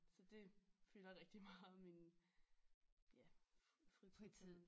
Så dét fylder rigtig meget af min ja fritid